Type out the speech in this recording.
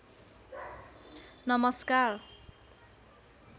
नमस्कार